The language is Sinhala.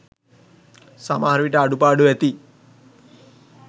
සමහර විට අඩුපාඩු ඇති.